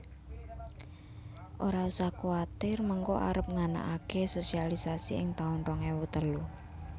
Ora usah kuatir mengko arep nganakake sosialisasi ing taun rong ewu telu